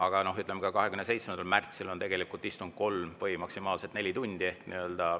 Aga ka 27. märtsil istung kolm, maksimaalselt neli tundi.